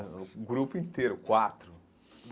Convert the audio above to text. O grupo inteiro, quatro.